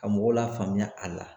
Ka mɔgɔw la faamuya a la.